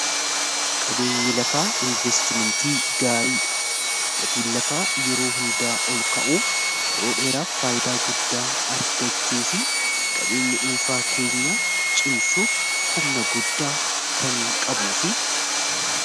qabeenyi lafaa investimentii gaarii dha gatiin lafaa yeroo hundaa ol ka'uu yeroo dheeraaf faayidaa guddaa argachuu fi qabeenyi dhuunfaa keenya cimsuuf humna guddaa kan qabu fi